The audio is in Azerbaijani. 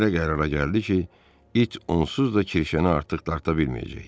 Belə qərara gəldi ki, it onsuz da Kirşəni artıq dartı bilməyəcək.